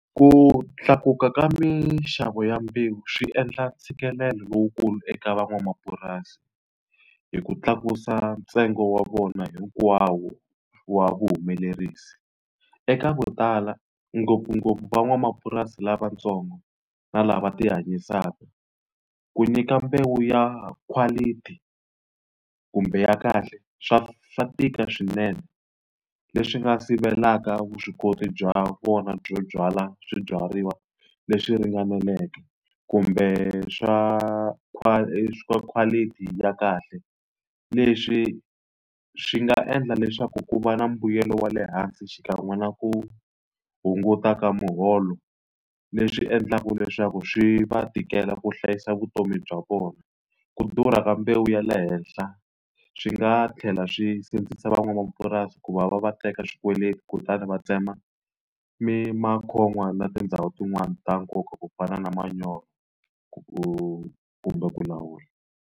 Ku tlakuka ka minxavo ya mbewu swi endla ntshikelelo lowukulu eka van'wamapurasi, hi ku tlakusa ntsengo wa vona hinkwawo wa vuhumelerisi. Eka vo tala ngopfungopfu van'wamapurasi lavatsongo na lava tihanyisaka, ku nyika mbewu ya quality kumbe ya kahle swa swa tika swinene, leswi nga sivelaka vuswikoti bya vona byo byala swibyariwa leswi ringaneleke kumbe swa swa quality ya kahle. Leswi swi nga endla leswaku ku va na mbuyelo wa le hansi xikan'we na ku hunguta ka muholo, leswi endlaka leswaku swi va tikela ku hlayisa vutomi bya vona. Ku durha ka mbewu ya le henhla swi nga tlhela swi sindzisa van'wamapurasi ku va va va teka swikweleti kutani va tsema na tindhawu tin'wani ta nkoka ku fana na manyoro ku kumbe ku lawula.